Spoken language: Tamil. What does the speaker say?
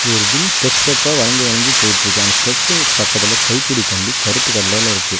ஒரு பின் ஸ்டெப் ஸ்டெப்பா வளஞ்சு வளஞ்சு போயிட்டுருக்கு அந்த ஸ்டெப்ஸ்ங்க பக்கத்துல கைப்புடி கம்பி கருப்பு கலர்ல இருக்கு.